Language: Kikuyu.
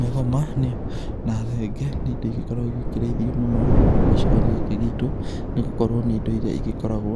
Mĩgoma na thenge nĩ indo igĩkoragwo igĩkĩrĩithio mũno gũkũ gĩcigo-inĩ gĩkĩ gitũ nĩ gũkorwo nĩ indo iria igĩkoragwo